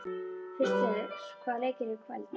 Krister, hvaða leikir eru í kvöld?